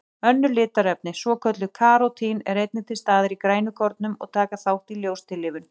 Önnur litarefni, svokölluð karótín, eru einnig til staðar í grænukornum og taka þátt í ljóstillífun.